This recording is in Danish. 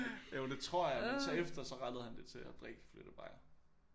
Jo det tror jeg men så efter så rettede han det til at drikke flyttebajere